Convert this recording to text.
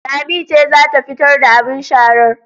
Lami ce za ta fitar da abin sharar